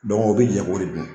dɔnku o be jɛn k'o de dun